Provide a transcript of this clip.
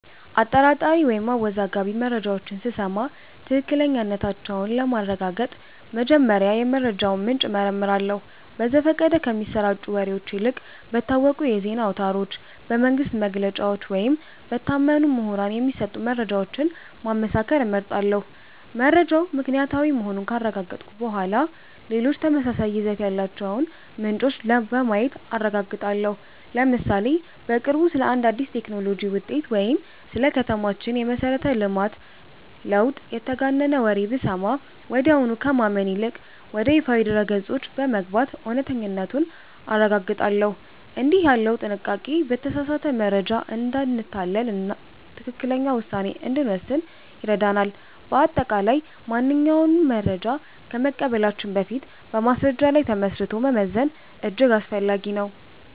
አጠራጣሪ ወይም አወዛጋቢ መረጃዎችን ስሰማ ትክክለኛነታቸውን ለማረጋገጥ መጀመሪያ የመረጃውን ምንጭ እመረምራለሁ። በዘፈቀደ ከሚሰራጩ ወሬዎች ይልቅ በታወቁ የዜና አውታሮች፣ በመንግሥት መግለጫዎች ወይም በታመኑ ምሁራን የሚሰጡ መረጃዎችን ማመሳከር እመርጣለሁ። መረጃው ምክንያታዊ መሆኑን ካረጋገጥኩ በኋላ፣ ሌሎች ተመሳሳይ ይዘት ያላቸውን ምንጮች በማየት አረጋግጣለሁ። ለምሳሌ፦ በቅርቡ ስለ አንድ አዲስ የቴክኖሎጂ ውጤት ወይም ስለ ከተማችን የመሠረተ ልማት ለውጥ የተጋነነ ወሬ ብሰማ፣ ወዲያውኑ ከማመን ይልቅ ወደ ይፋዊ ድረ-ገጾች በመግባት እውነተኛነቱን አረጋግጣለሁ። እንዲህ ያለው ጥንቃቄ በተሳሳተ መረጃ እንዳንታለልና ትክክለኛ ውሳኔ እንድንወስን ይረዳናል። በአጠቃላይ፣ ማንኛውንም መረጃ ከመቀበላችን በፊት በማስረጃ ላይ ተመስርቶ መመዘን እጅግ አስፈላጊ ነው።